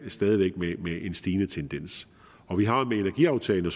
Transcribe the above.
stadig væk med en markant stigende tendens med energiaftalen og